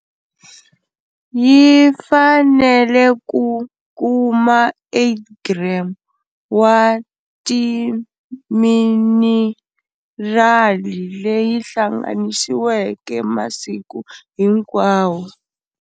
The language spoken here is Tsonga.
Yi fanele ku kuma 8g wa timinirali leyi hlanganisiweke masiku hinkwawo.